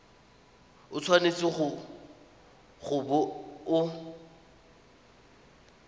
o tshwanetse go bo o